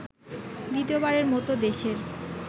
দ্বিতীয়বারের মতো দেশের